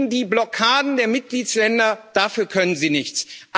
Die Blockaden der Mitgliedsstaaten dafür können Sie nichts.